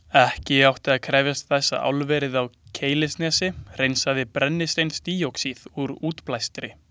Ekki átti að krefjast þess að álverið á Keilisnesi hreinsaði brennisteinsdíoxíð úr útblæstri.